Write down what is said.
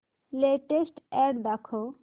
latest ad दाखव